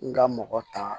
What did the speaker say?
N ka mɔgɔ ta